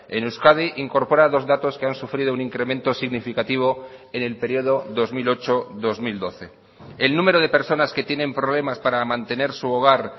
en euskadi incorpora dos datos que han sufrido un incremento significativo en el periodo dos mil ocho dos mil doce el número de personas que tienen problemas para mantener su hogar